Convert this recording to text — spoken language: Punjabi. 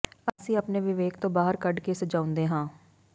ਅਸੀਂ ਆਪਣੇ ਵਿਵੇਕ ਤੋਂ ਬਾਹਰ ਕੱਢ ਕੇ ਸਜਾਉਂਦੇ ਹਾਂ